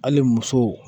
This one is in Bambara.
Hali muso